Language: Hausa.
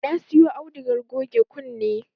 Na siyo audugar goge kunne